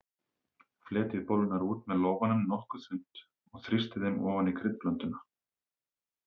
Fletjið bollurnar út með lófanum nokkuð þunnt og þrýstið þeim ofan í kryddblönduna.